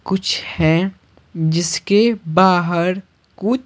कुछ है जिसके बाहर कु--